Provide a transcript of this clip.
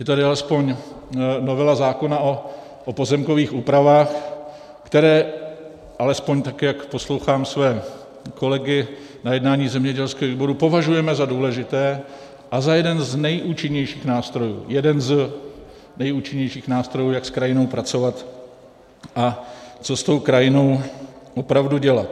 Je tady alespoň novela zákona o pozemkových úpravách, které, alespoň tak jak poslouchám své kolegy na jednání zemědělského výboru, považujeme za důležité a za jeden z nejúčinnějších nástrojů, jeden z nejúčinnějších nástrojů, jak s krajinou pracovat a co s tou krajinou opravdu dělat.